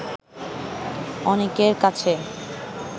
অনেকের কাছে